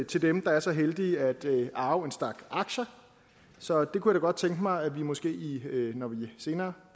til dem der er så heldige at arve en stak aktier så jeg kunne da godt tænke mig når vi senere